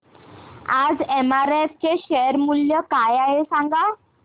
आज एमआरएफ चे शेअर मूल्य काय आहे सांगा